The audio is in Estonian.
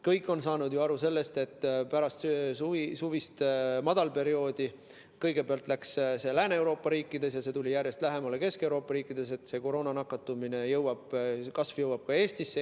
Kõik on saanud ju aru, et kui pärast suvist madalperioodi kõigepealt läks see lahti Lääne-Euroopa riikides ja tuli järjest lähemale, Kesk-Euroopa riikidesse, siis koroonanakatumise kasv jõuab ka Eestisse.